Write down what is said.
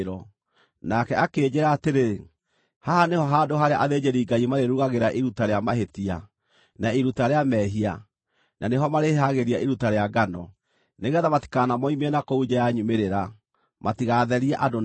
Nake akĩnjĩĩra atĩrĩ, “Haha nĩho handũ harĩa athĩnjĩri-Ngai marĩrugagĩra iruta rĩa mahĩtia, na iruta rĩa mehia, na nĩho marĩĩhĩhagĩria iruta rĩa ngano, nĩgeetha matikanamoimie na kũu nja ya nyumĩrĩra, matigatherie andũ namo.”